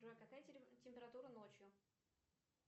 джой какая температура ночью